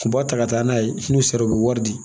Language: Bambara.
U b'a ta ka taa n'a ye n'u sera u bɛ wari di